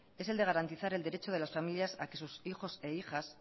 es el de garantizar el derecho de las familias a que sus hijos e hijas